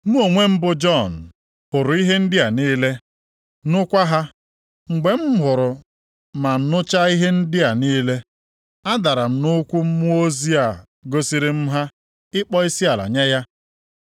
Mụ onwe m bụ Jọn, hụrụ ihe ndị a niile, nụkwa ha. Mgbe m hụrụ ma nụchaa ihe ndị a niile, adara m nʼụkwụ mmụọ ozi a gosiri m ha ịkpọ isiala nye ya.